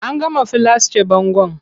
An gama filasce bangon.